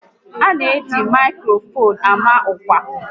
A na eji maikrofon ama ọkwa